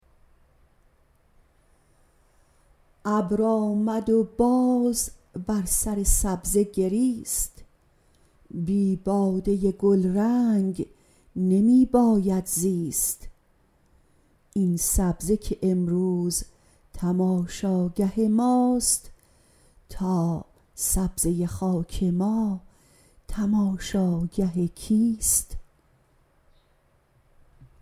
ابر آمد و باز بر سر سبزه گریست بی باده گلرنگ نمی باید زیست این سبزه که امروز تماشاگه ماست تا سبزه خاک ما تماشاگه کیست